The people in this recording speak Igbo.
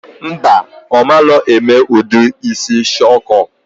Mba, omalo eme udu isi shuku